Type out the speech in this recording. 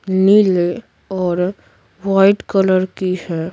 नीले और white colour की है।